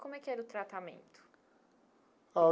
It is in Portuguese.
Como é que era o tratamento?